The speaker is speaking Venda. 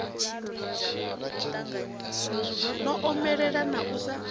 no omelela na u sa